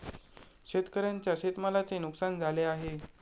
शेतकऱ्यांच्या शेतमालाचे नुकसान झाले आहे.